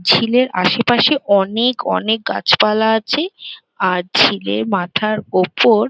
ঝিলের আসে পাশে অনেক অনেক গাছপালা আছে আর ঝিলের মাথার ওপর--